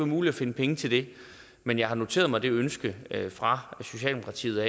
muligt at finde penge til det men jeg har noteret mig det ønske fra socialdemokratiet